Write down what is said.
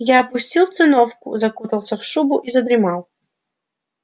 я опустил циновку закутался в шубу и задремал